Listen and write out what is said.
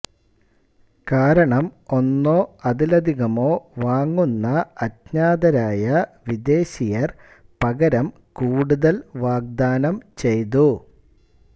കാരണം ഒന്നോ അതിലധികമോ വാങ്ങുന്ന അജ്ഞാതരായ വിദേശിയർ പകരം കൂടുതൽ വാഗ്ദാനം ചെയ്തു